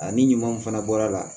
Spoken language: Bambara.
Ani ɲumanw fana bɔra a la